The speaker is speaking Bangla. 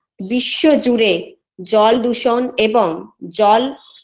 বিশ্ব জুড়ে জল দূষন এবং জল